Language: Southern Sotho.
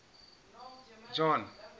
john